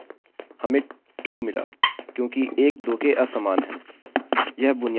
हमें true मिला क्योंकि 1 2 के असमान है